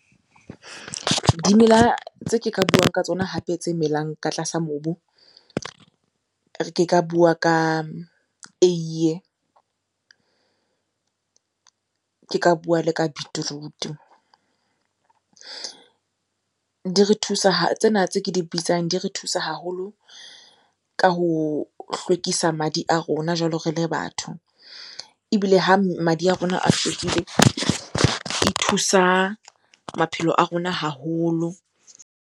Dimela tse ke ka buang ka tsona hape tse melang ka tlasa mobu. Ke ka bua ka eiye, ke ka bua le ka beetroot-u. Di re thusa tsena tse ke di bitsang di re thusa haholo ka ho hlwekisa madi a rona jwalo re le batho. Ebile ha madi a rona a fedile, e thusa maphelo a rona haholo.